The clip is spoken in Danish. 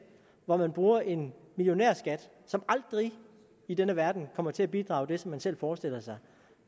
hvor man bruger en millionærskat som aldrig i denne verden kommer til at bidrage med det som man selv forestiller sig